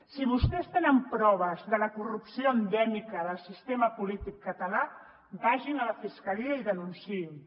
si vostès tenen proves de la corrupció endèmica del sistema polític català vagin a la fiscalia i denunciïn ho